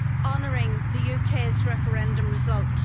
honouring the UK's referendum result.